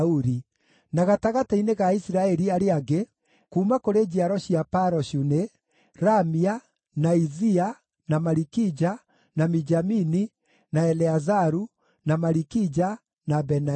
Na gatagatĩ-inĩ ga Aisiraeli arĩa angĩ: Kuuma kũrĩ njiaro cia Paroshu nĩ: Ramia, na Izia, na Malikija, na Mijamini, na Eleazaru, na Malikija, na Benaia.